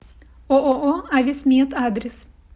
ооо ависмед адрес